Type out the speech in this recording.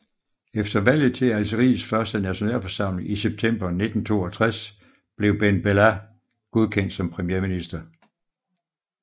Efter valget til Algeriets første nationalforsamling i september 1962 blev Ben Bella godkendt som premierminister